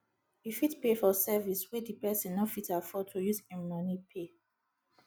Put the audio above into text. you fit pay for service wey di person no fit afford to use im money pay